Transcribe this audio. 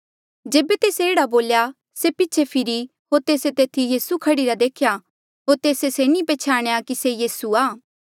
जेबे तेस्से एह्ड़ा बोल्या से पीछे फीरी होर तेस्से तेथी यीसू खड़ीरा देख्या होर तेस्से से नी पछ्याणया कि ये यीसू आ